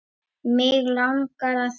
Mig langar að gefa.